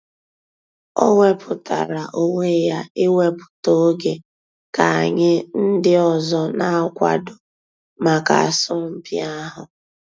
Ọ̀ wépụ̀tárà ònwè yà íwèpụ̀tà ògè kà ànyị̀ ńdí òzò nà-àkwàdò mǎká àsọ̀mpị̀ àhụ̀.